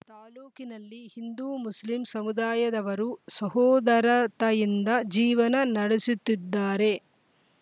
ತಾಲೂಕಿನಲ್ಲಿ ಹಿಂದೂ ಮುಸ್ಲಿಂ ಸಮುದಾಯದವರು ಸಹೋದರ ತೆಯಿಂದ ಜೀವನ ನಡೆಸುತ್ತಿದ್ದಾರೆ